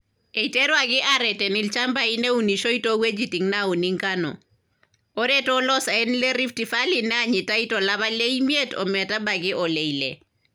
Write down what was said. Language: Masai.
Eiteruaki aareten ilchambai neunishoi too wuejitin naauni engano, ore to loosaen le Rift Valleey neejitai to lapa le miet o metabaiki ole ile.